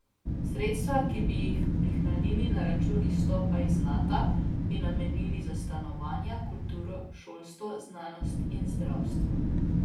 Sredstva, ki bi jih prihranili na račun izstopa iz Nata, bi namenili za stanovanja, kulturo, šolstvo, znanost in zdravstvo.